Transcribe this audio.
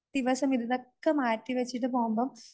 ദിവസം ഇതൊക്കെ മാറ്റി വെച്ചിട്ട് പോകുമ്പം